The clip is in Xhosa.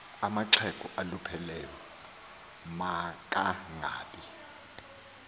amaxhego awalupheleyo makangabi